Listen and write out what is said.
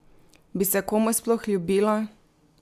Bi se komu sploh ljubilo?